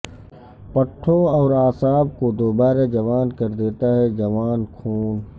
پٹھوں اور اعصاب کو دوبارہ جوان کر دیتا ہے جوان خون